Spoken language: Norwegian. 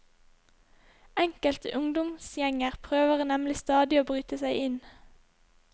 Enkelte ungdomsgjenger prøver nemlig stadig å bryte seg inn.